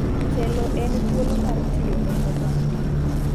Telo en thuolo mar tiyo ne oganda.